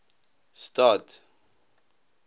stad